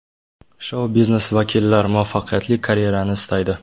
Shou-biznes vakillar muvaffaqiyatli karyerani istaydi.